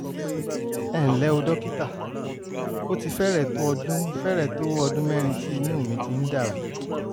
ẹ ǹlẹ́ o dókítà? ó ti fẹ́rẹ̀ẹ́ tó ọdún fẹ́rẹ̀ẹ́ tó ọdún mẹ́rin tí inú mi ti ń dàrú